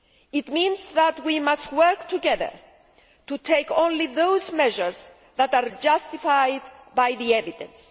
It means that we must work together to take only those measures that are justified by the evidence.